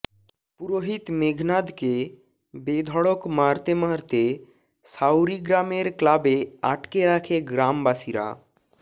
পুরোহিত মেঘনাধকে বেধড়ক মারতে মারতে সাউরি গ্রামের ক্লাবে আটকে রাখে গ্রামবাসীরা